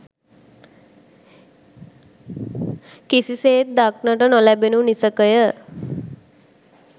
කිසිසේත් දක්නට නොලැබෙනු නිසැකය